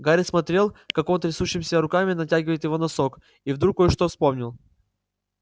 гарри смотрел как он трясущимися руками натягивает его носок и вдруг кое-что вспомнил